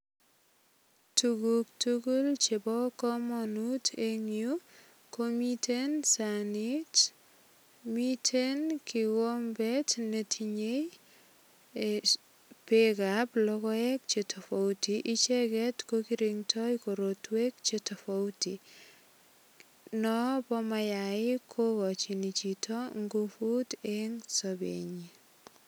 Tuguk tugul chebo kamanut eng yu komiten sanit, miten kigombet netinyei beekab logoek che tofauti. Icheget kokirndoi korotwek che tofauti. Noobo mayaik kogochin ngufuten sobenyi.